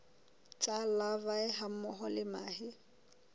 tsa larvae hammoho le mahe